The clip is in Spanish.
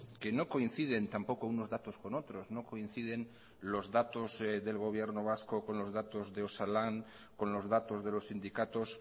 que no coinciden tampoco unos datos con otros no coinciden los datos del gobierno vasco con los datos de osalan con los datos de los sindicatos